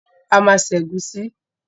A ma ṣe ẹ̀gúsí